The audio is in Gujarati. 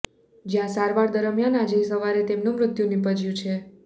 જ્યાં સારવાર દરમિયાન આજે સવારે તેમનું મૃત્યુ નિપજ્યું છે